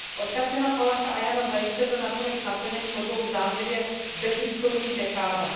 Odkaz Jana Palacha a Jana Zajíce byl nakonec naplněn po dvou zdánlivě bezvýchodných dekádách.